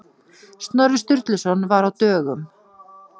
Snorri Sturluson var á dögum.